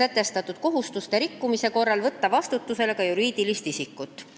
sätestatud kohustuste rikkumise korral võtta vastutusele ka juriidilist isikut.